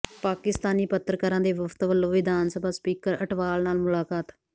ਪਾਕਿਸਤਾਨੀ ਪੱਤਰਕਾਰਾਂ ਦੇ ਵਫ਼ਦ ਵਲੋਂ ਵਿਧਾਨ ਸਭਾ ਸਪੀਕਰ ਅਟਵਾਲ ਨਾਲ ਮੁਲਾਕਾਤ